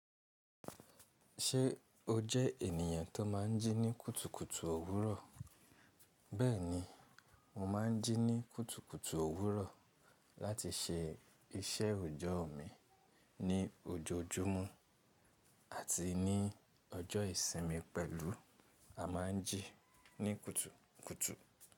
Ṣé o jẹ ènìyàn tó má n jí ní kùtùkùtù òwúrọ̀? Bẹ́ẹ̀ni, mo má n jí ní kùtùkùtù òwúrọ̀ láti se iṣẹ́ òjọ́ mi ní ojoojúmọ́ àti ní ọjọ́ ìsinmi pẹ̀lú àmaji ní kùtùkùtù.